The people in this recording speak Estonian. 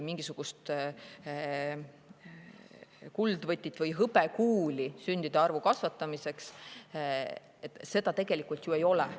Mingisugust kuldvõtit või hõbekuuli sündide arvu kasvatamiseks tegelikult ju ei ole.